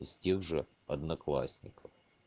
из тех же одноклассников